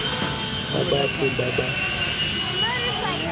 tsa batho ba ba farologaneng